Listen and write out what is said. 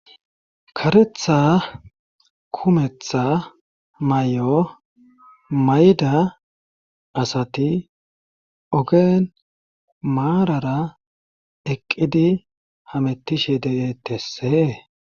Karetha kumetha may7o mayda asati ogeen maarara eqqidi hamettishe de7eettessee.